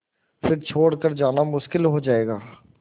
फिर छोड़ कर जाना मुश्किल हो जाएगा